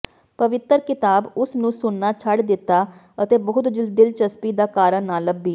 ਪਵਿੱਤਰ ਕਿਤਾਬ ਉਸ ਨੂੰ ਸੁਣਨਾ ਛੱਡ ਦਿੱਤਾ ਅਤੇ ਬਹੁਤ ਦਿਲਚਸਪੀ ਦਾ ਕਾਰਨ ਨਾ ਲੱਭੀ